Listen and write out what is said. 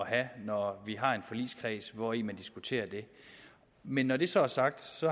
have når vi har en forligskreds hvori man diskuterer det men når det så er sagt